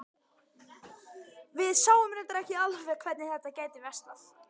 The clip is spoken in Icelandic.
Við sáum reyndar ekki alveg hvernig þetta gæti versnað.